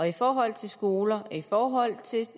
i forhold til skoler i forhold til